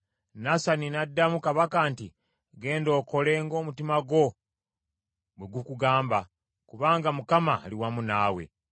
Nasani n’addamu kabaka nti, “Genda okole ng’omutima gwo bwe gukugamba, kubanga Mukama ali wamu naawe.”